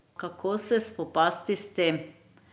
Kako se spopasti s tem?